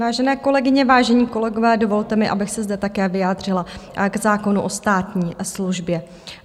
Vážené kolegyně, vážení kolegové, dovolte mi, abych se zde také vyjádřila k zákonu o státní službě.